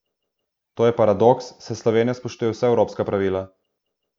To je paradoks, saj Slovenija spoštuje vsa evropska pravila.